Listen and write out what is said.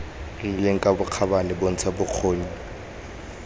rileng ka bokgabane bontsha bokgoni